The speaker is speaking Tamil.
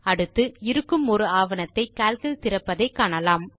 அடுத்து இருக்கும் ஒரு ஆவணத்தை கால்க் இல் திறப்பதை காணலாம்